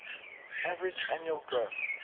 average annual growth